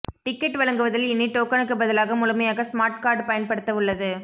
ticket வழங்குவதில் இனி டோக்கனுக்கு பதிலாக முழுமையாக ஸ்மார்ட் கார்டு பயன்படுத்தப்பட உள்ளது